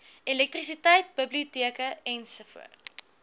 elektrisiteit biblioteke ens